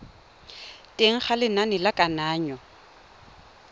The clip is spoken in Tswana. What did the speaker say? teng ga lenane la kananyo